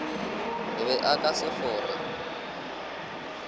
be a ka se fore